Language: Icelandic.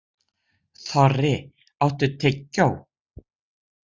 Þorri, áttu tyggjó?